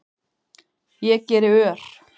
Ég geri ör